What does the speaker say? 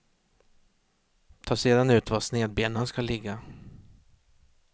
Ta sedan ut var snedbenan ska ligga.